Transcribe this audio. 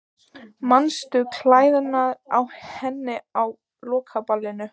Manstu klæðnaðinn á henni á lokaballinu?